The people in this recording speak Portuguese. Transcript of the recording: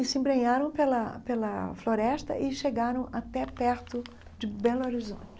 E se embrenharam pela pela floresta e chegaram até perto de Belo Horizonte.